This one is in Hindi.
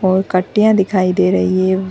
और दिखाई दे रही है।